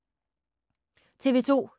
TV 2